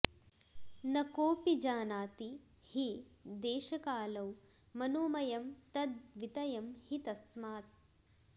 न कोऽपि जानाति हि देशकालौ मनोमयं तद्द्वितयं हि तस्मात्